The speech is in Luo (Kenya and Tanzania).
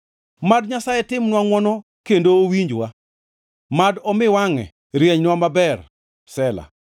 Mad Nyasaye timnwa ngʼwono kendo owinjwa; mad omi wangʼe rienynwa maber, Sela